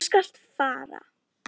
Þú skalt fara.